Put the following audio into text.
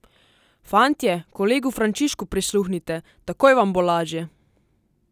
Fantje, kolegu Frančišku prisluhnite, takoj vam bo lažje!